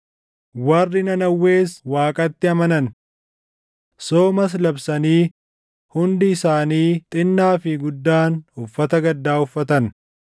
Warri Nanawwees Waaqatti amanan. Soomas labsanii hundi isaanii xinnaa fi guddaan uffata gaddaa uffatan.